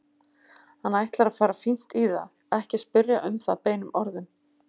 Hann ætlar að fara fínt í það, ekki spyrja um það beinum orðum.